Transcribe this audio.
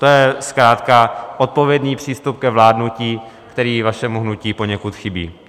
To je zkrátka odpovědný přístup k vládnutí, který vašemu hnutí poněkud chybí.